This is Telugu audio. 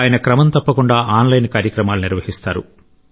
ఆయన క్రమం తప్పకుండా ఆన్లైన్ కార్యక్రమాలు చేస్తారు